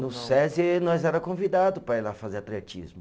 No Sesi nós era convidado para ir lá fazer atletismo.